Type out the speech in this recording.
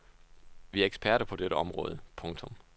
Vi er eksperter på dette område. punktum